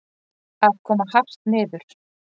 Að koma hart niður